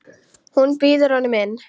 Hún býður honum inn.